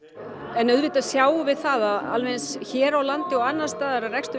en auðvitað sjáum við það alveg eins hér á landi og annars staðar að rekstur